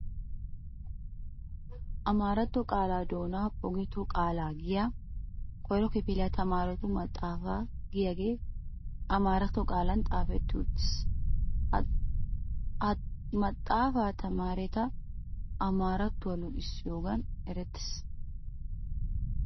Amaratto qaalaa doona pogotoo qaala giyaa koyro kifiliyaa tamaaretu maxaafaa giyaagee amaretto qaalan xaafeti wottiis. Ha maxaafa tamaareta amaarattuwaa luxissiyoogan eretees.